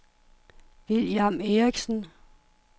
William Erichsen